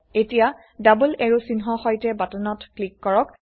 এতিয়া ডবল এৰো চিহ্ন সৈতে বাটনত ক্লিক কৰক